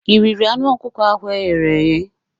Ị riri anụ ọkụkọ ahụ e ghere eghe?